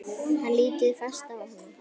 Hann lítur fast á hana.